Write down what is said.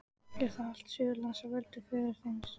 Er þá allt Suðurland á valdi föður þíns?